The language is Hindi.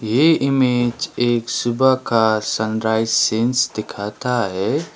ये इमेज एक सुबह का सनराइस सीन्स दिखाता है।